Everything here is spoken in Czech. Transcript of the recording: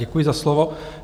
Děkuji za slovo.